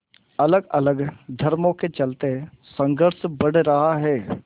अलगअलग धर्मों के चलते संघर्ष बढ़ रहा है